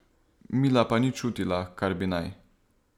Mila pa ni čutila, kar bi naj.